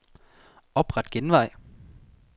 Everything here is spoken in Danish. Opret genvej.